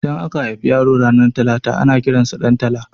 Idan aka haifi yaro ranar talata ana kiransa Ɗantala